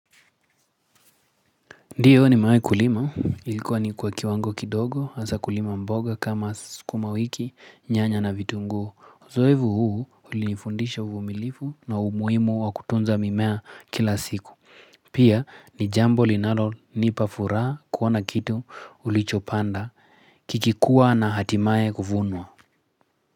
Ndiyo nimewahi kulima, ilikuwa ni kwa kiwango kidogo, hasa kulima mboga kama sukuma wiki, nyanya na vitunguu. Uzoefu huu ulinifundisha uvumilivu na umuhimu wa kutunza mimea kila siku. Pia ni jambo linalonipa furaha kuona kitu ulichopanda, kikikua na hatimaye kuvunwa.